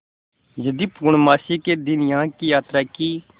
यदि पूर्णमासी के दिन यहाँ की यात्रा की